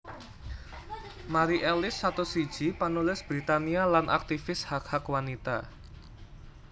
Mari Ellis satus siji panulis Britania lan aktivis hak hak wanita